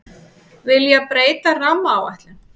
Vilja breyta rammaáætlun